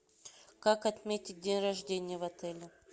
как отметить день рождения в отеле